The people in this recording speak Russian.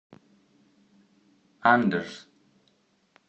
андерс